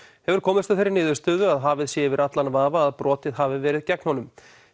hefur komist að þeirri niðurstöðu að hafið sé yfir allan vafa að brotið hafi verið gegn honum